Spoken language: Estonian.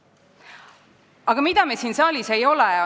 Aga mida me siin saalis ei ole?